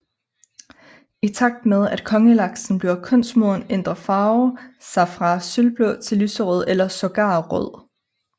I takt med at Kongelaksen bliver kønsmoden ændre farven sig fra sølvblå til lyserød eller sågar rød